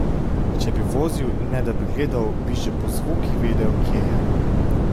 Če bi vozil, ne da bi gledal, bi že po zvokih vedel, kje je.